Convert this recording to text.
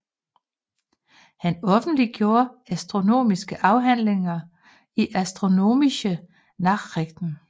Han offentliggjorde astronomiske afhandlinger i Astronomische Nachrichten